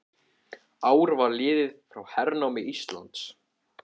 Ár var liðið frá hernámi Íslands.